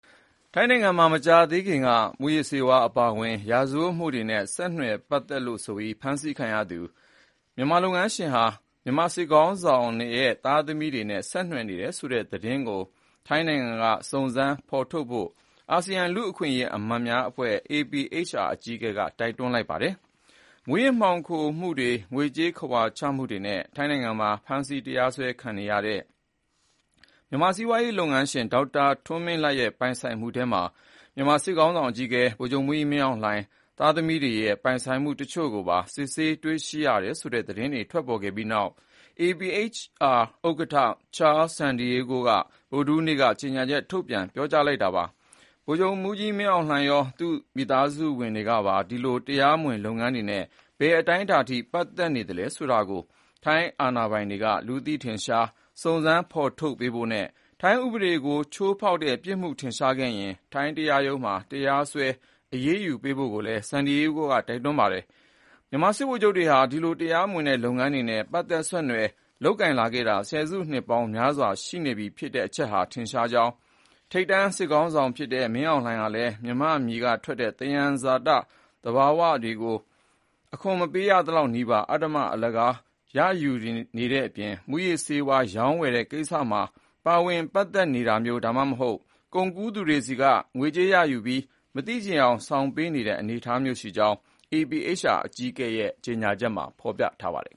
ထိုင်းနိုင်ငံမှာ မကြာသေးခင်က မူးယစ်ဆေးဝါးအပါအဝင် ရာဇဝတ်မှုတွေနဲ့ဆက်နွယ်မှုနဲ့ ဖမ်းဆီးခံရသူ မြန်မာလုပ်ငန်းရှင်ဟာ မြန်မာစစ်ကောင်စီခေါင်းဆောင်ရဲ့သားသမီးတွေနဲ့ ဆက်နွယ်နေတယ်ဆိုတဲ့သတင်းကို ထိုင်းနိုင်ငံကစုံစမ်းဖော်ထုတ်ဖို့ အာဆီယံ လူ့အခွင့်အရေးအမတ်များအဖွဲ့ APHR အကြီးအကဲက တိုက်တွန်းလိုက်ပါတယ်။ မူးယစ်ဆေးဝါး မှောင်ခိုမှု၊ ငွေကြေးခဝါချမှုတွေနဲ့ ထိုင်းနိုင်ငံမှာ ဖမ်းဆီးတရားစွဲခံနေရတဲ့ မြန်မာစီးပွားရေးလုပ်ငန်းရှင် ဒေါက်တာထွန်းမင်းလတ်ရဲ့ ပိုင်ဆိုင်မှုထဲမှာ မြန်မာစစ်ကောင်စီအကြီးအကဲ ဗိုလ်ချုပ်မှူးကြီး မင်းအောင်လှိုင်ရဲ့သားသမီးတွေရဲ့ ပိုင်ဆိုင်မှုတချို့ကိုပါ စစ်ဆေးတွေ့ရှိတယ်ဆိုတဲ့ သတင်းထွက်ပေါ်ခဲ့ပြီးနောက် APHR ဥက္ကဋ္ဌ Charles Santiago က ဗုဒ္ဓဟူးနေ့မှာ ကြေညာချက်ထုတ်ပြန် ပြောကြားလိုက်တာပါ။ ဗိုလ်ချုပ်မှူးကြီးမင်းအောင်လှိုင်ရော သူ့မိသားစုကပါ ဒီလို တရားမဝင်လုပ်ငန်းတွေနဲ့ ဘယ်အတိုင်းအတာထိ ပတ်သက်နေသလဲဆိုတာကို ထိုင်းအာဏာပိုင်တွေက လူသိထင်ရှားစုံစမ်းဖေါ်ထုတ်ပေးဖို့နဲ့ ထိုင်းဥပဒေကိုချိုးဖေါက်တဲ့ပြစ်မှုထင်ရှားခဲ့ရင် ထိုင်းတရားရုံးမှာ တရားစွဲအရေးယူဖို့ကိုလည်း Santiago က တိုက်တွန်းလိုက်ပါတယ်။ မြန်မာစစ်ဗိုလ်ချုပ်တွေဟာ ဒီလို တရားမဝင်တဲ့လုပ်ငန်းတွေနဲ့ ပတ်သက်ဆက်နွှယ်လုပ်ကိုင်လာခဲ့တာ ဆယ်စုနှစ်ပေါင်းများစွာရှိနေပြီဆိုတဲ့အချက်ဟာ ထင်ရှားကြောင်း၊ ထိပ်တန်း စစ်ခေါင်းဆောင်ဖြစ်တဲ့မင်းအောင်လှိုင်ဟာလည်း မြန်မာ့မြေကထွက်တဲ့ သဘာဝသယံဇာတတွေကို အခွန်မပေးရသလောက်နီးပါး အဓမ္မ အလကားရယူနေတဲ့အပြင် မူးယစ်ဆေးဝါး ရောင်းဝယ်တဲ့ကိစ္စတွေမှာပါ ပါဝင်ပတ်သက်နေတာမျိုး ဒါမှမဟုတ် ကုန်ကူးသူတွေဆီက ငွေကြေးရယူပြီး မသိချင်ယောင်ဆောင်ပေးနေတဲ့အနေအထားမျိုးရှိကြောင်း APHR အကြီးအကဲရဲ့ ကြေညာချက်မှာ ဖော်ပြပါတယ်။